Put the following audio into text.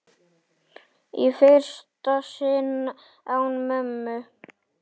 Í fyrsta sinn án mömmu.